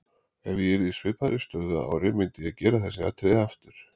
Ef ég yrði í svipaðri stöðu að ári myndi ég gera þessi atriði aftur.